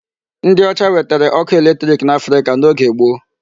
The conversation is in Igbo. Ndị ọcha wetere ọkụ electric n'Africa n'oge gboo.